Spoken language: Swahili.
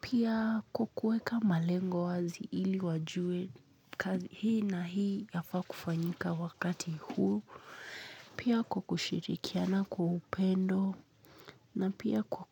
Pia kukueka malengo wazi ili wajue kazi hii na hii yafa kufanyika wakati huu. Pia kushirikiana kwa upendo na